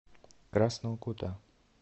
красного кута